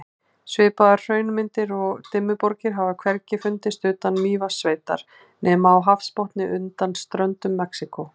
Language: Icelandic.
Svipaðar hraunmyndanir og Dimmuborgir hafa hvergi fundist utan Mývatnssveitar nema á hafsbotni undan ströndum Mexíkó.